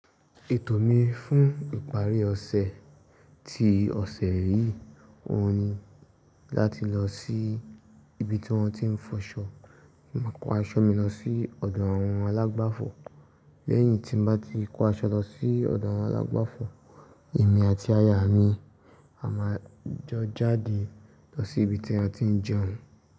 Ètò mi fún ìparí ọ̀sẹ̀ ti ọ̀sẹ̀ yìí, òun ni láti lọ sí ibi tí wọ́n ti ń fọṣọ, máa kó aṣọ mi lọ sí ọ̀dọ̀ àwọn alágbàfọ̀. Lẹ́yìn tí n bá ti kó aṣọ lọ sí ọ̀dọ̀ àwọn alágbàfọ̀, èmi àti aya mi a máa jọ jáde lọ sí ibi tí a ti ń jẹun.